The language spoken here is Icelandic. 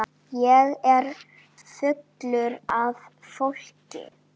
Ég er fullur af fólki.